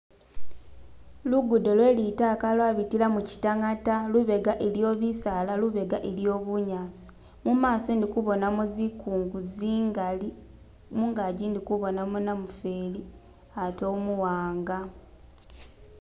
lugudo lwelitaka lwabitilamu kyitangata lubega iliyo bisaala lubega iliyo bunyasi mumaso indi kubonayo zikungu zingali mungaji ndikubonamu namufeli ate umuwanga